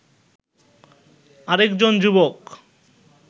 আরেকজন যুবক